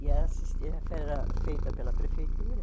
E essas era feita pela prefeitura.